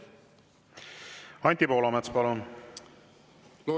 Anti Poolamets, palun!